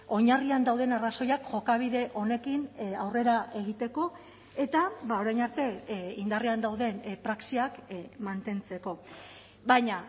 oinarrian dauden arrazoiak jokabide honekin aurrera egiteko eta orain arte indarrean dauden praxiak mantentzeko baina